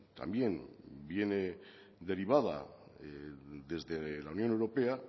también viene derivada desde la unión europea